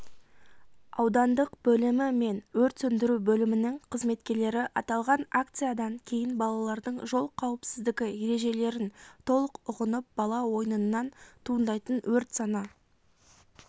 аудандық бөлімі мен өрт сөндіру бөлімінің қызметкерлері аталған акциядан кейін балалардың жол қауіпсіздігі ережелерін толық ұғынып бала ойынынан туындайтын өрт саны